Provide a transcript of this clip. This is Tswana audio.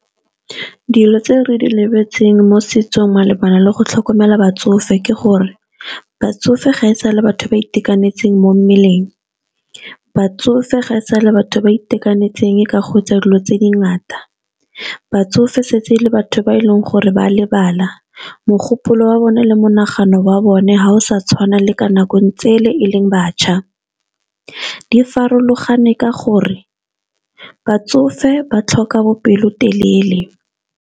Dilo tse re di lebeletseng mo setsong malebana le go tlhokomela batsofe ke gore batsofe ga e sale batho ba itekanetseng mo mmeleng, batsofe ga e sale batho ba itekanetseng ka go etsa dilo tse di ngata, batsofe setse le batho ba e leng gore ba lebala mogopolo wa bone le monagano wa bone ga o sa tshwana le ka nako tsele e leng batjha. Di farologane ka gore batsofe ba tlhoka bopelotelele.